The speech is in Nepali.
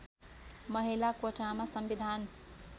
महिला कोटामा संविधान